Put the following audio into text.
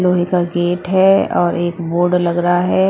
लोहे का गेट है और एक बोर्ड लग रहा है।